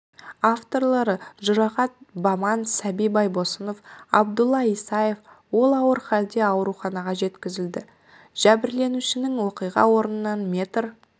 авторлары жұрағат баман сәби байбосынов абдулла исаев ол ауыр халде ауруханаға жеткізілді жәбірленушінің оқиға орнынан метр